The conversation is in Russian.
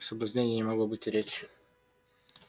о соблазнении не могло быть и речи